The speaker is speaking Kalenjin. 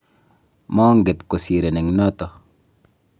manget kosirin eng noto